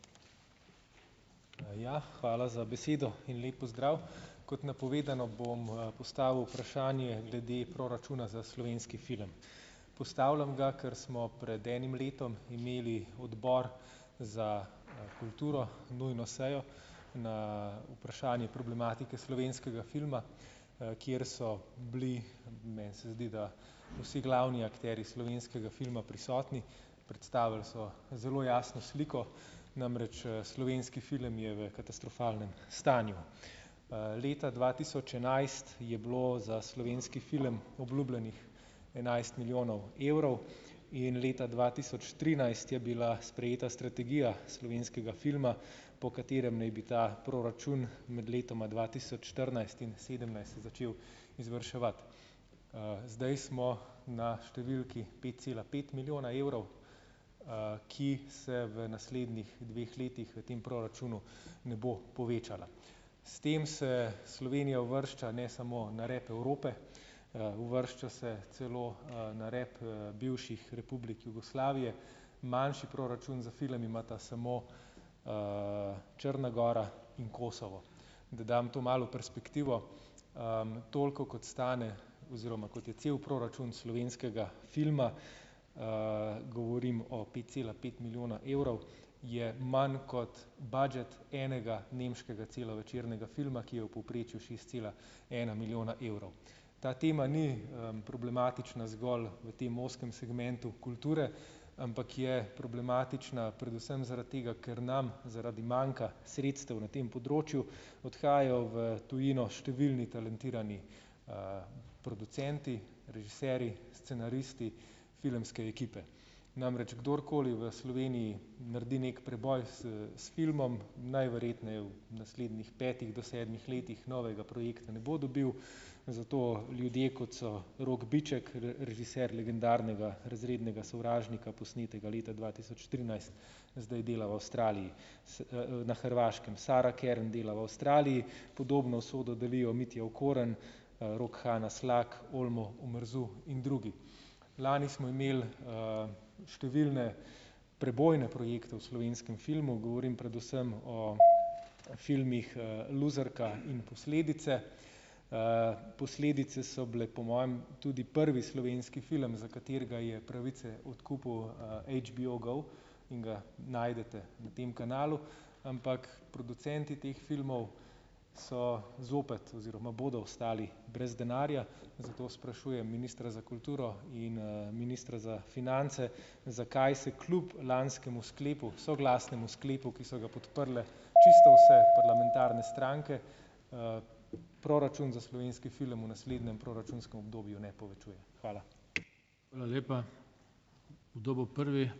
Ja, hvala za besedo in lep pozdrav! Kot napovedano, bom, postavil vprašanje glede proračuna za slovenski film. Postavljam ga, ker smo pred enim letom imeli Odbor za kulturo, nujno sejo na vprašanje problematike slovenskega filma, kjer so bili - meni se zdi, da vsi glavni akterji slovenskega filma prisotni. Predstavili so zelo jasno sliko, namreč, slovenski film je v katastrofalnem stanju. Leta dva tisoč enajst je bilo za slovenski film obljubljenih enajst milijonov evrov in leta dva tisoč trinajst je bila sprejeta strategija slovenskega filma, po katerem naj bi ta proračun med letoma dva tisoč štirinajst in sedemnajst začel izvrševati. Zdaj smo na številki pet cela pet milijona evrov, ki se v naslednjih dveh letih v tem proračunu ne bo povečala. S tem se Slovenija uvršča ne samo na rep Evrope, uvršča se celo, na rep, bivših republik Jugoslavije. Manjši proračun za film imata samo, Črna gora in Kosovo. Da dam to malo v perspektivo. Toliko kot stane oziroma kot je cel proračun slovenskega filma, govorim o pet cela pet milijona evrov, je manj kot budžet enega nemškega celovečernega filma, ki je v povprečju šest cela ena milijona evrov. Ta tema ni, problematična zgolj v tem ozkem segmentu kulture, ampak je problematična predvsem zaradi tega, ker nam zaradi manjka sredstev na tem področju, odhajajo v tujino številni talentirani, producenti, režiserji, scenaristi, filmske ekipe. Namreč kdorkoli v Sloveniji naredi neki preboj s s filmom, najverjetneje v naslednjih petih do sedmih letih novega projekta ne bo dobil, zato ljudje, kot so Rok Biček, režiser legendarnega Razrednega sovražnika, posnetega leta dva tisoč trinajst, zdaj dela v Avstraliji, na Hrvaškem Sara Kern dela v Avstraliji. Podobno usodo delijo Mitja Okorn, Rok, Hanna Slak, Olmo Omerzu in drugi. Lani smo imeli, številne prebojne projekte v slovenskem filmu. Govorim predvsem o filmih, Luzerka in Posledice. Posledice so bile po mojem tudi prvi slovenski film, za katerega je pravice odkupil, HBO go in ga najdete na tem kanalu. Ampak producenti teh filmov so zopet oziroma bodo ostali brez denarja. Zato sprašujem ministra za kulturo in, ministra za finance: Zakaj se kljub lanskemu sklepu, soglasnemu sklepu, ki so ga podprle čisto vse parlamentarne stranke, proračun za slovenski film v naslednjem proračunskem obdobju ne povečuje? Hvala.